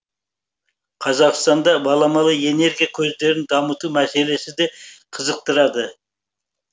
қазақстанды баламалы энергия көздерін дамыту мәселесі де қызықтырады